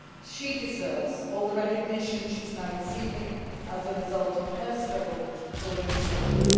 She deserves all the recognition she is now receiving as a result of her struggle for women's rights.